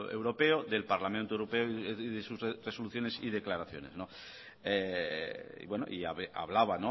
europeo del parlamento europeo y de sus resoluciones y declaraciones y hablaba